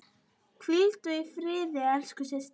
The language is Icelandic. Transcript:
Hvíldu í friði elsku systir.